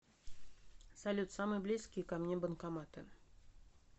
салют самые близкие ко мне банкоматы